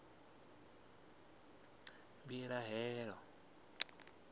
mbilahelo